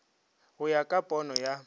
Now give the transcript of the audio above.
go ya ka pono ya